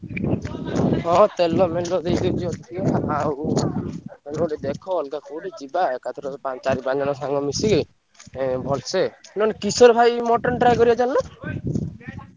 ହଁ ତେଲ ମେଲ ଦେଇ ଦଉଚି ଅଧିକା ଆଉ କୋଉଠି ଗୋଟେ ଦେଖ ଅଲଗା କୋଉଠି ଯିବା ଏକାଥର ପା~ ଚାରି ପାଞ୍ଚ ଜଣ ସାଙ୍ଗ ମିଶିକି ଏଁ ଭଲସ ନହେଲେ କିଶୋର ଭାଇ mutton try କରିବା ଚାଲୁନ